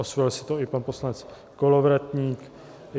Osvojil si to i pan poslanec Kolovratník.